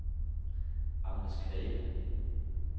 Agnes Greve